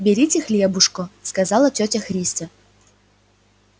берите хлебушко сказала тётя христя